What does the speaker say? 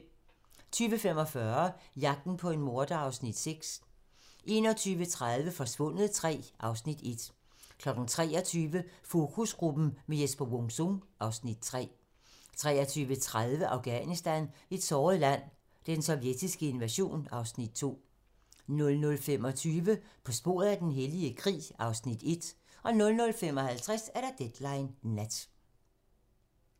20:45: Jagten på en morder (Afs. 6) 21:30: Forsvundet III (Afs. 1) 23:00: Fokusgruppen med Jesper Wung-Sung (Afs. 3) 23:30: Afghanistan - et såret land: Den sovjetiske invasion (Afs. 2) 00:25: På sporet af den hellige krig (Afs. 1) 00:55: Deadline nat